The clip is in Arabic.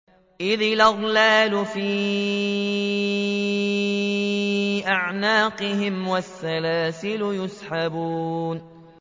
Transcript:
إِذِ الْأَغْلَالُ فِي أَعْنَاقِهِمْ وَالسَّلَاسِلُ يُسْحَبُونَ